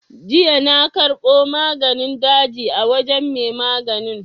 Jiya na karɓo maganin daji a wajen mai maganin.